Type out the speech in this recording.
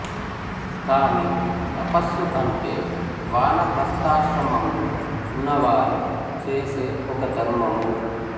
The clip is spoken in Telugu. కాని తపస్సు అంటే వానప్రస్థాశ్రమంలో ఉన్నవారు చేసే ఒక ధర్మము